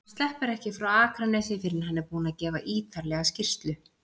Hann sleppur ekki frá Akranesi fyrr en hann er búinn að gefa ýtarlega skýrslu.